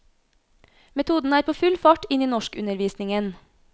Metoden er på full fart inn i norskundervisningen.